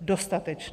dostatečná.